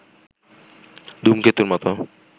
ধূমকেতুর মতো